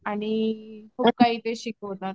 आणि खूप काही ते शिकवतात.